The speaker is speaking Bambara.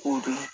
K'o dɔn